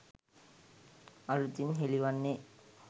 අලුතින් හෙළිවන්නේ.